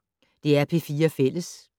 DR P4 Fælles